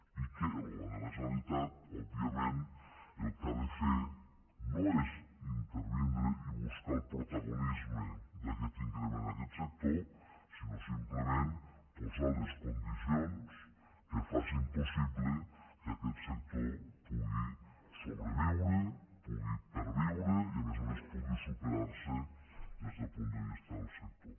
i que el govern de la generalitat òbviament el que ha de fer no és intervenir i buscar el protagonisme d’aquest increment en aquest sector sinó simplement posar les condicions que facin possible que aquest sector pugui sobreviure pugui perviure i a més a més pugui superar se des del punt de vista del sector